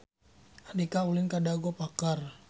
Andika ulin ka Dago Pakar